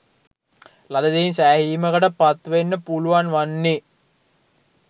ලද දෙයින් සෑහීමකට පත් වෙන්න පුළුවන් වන්නේ